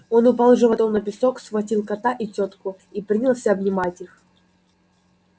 он упал животом на песок схватил кота и тётку и принялся обнимать их